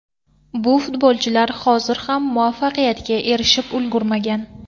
Bu futbolchilar hozir ham muvaffaqiyatga erishib ulgurmagan.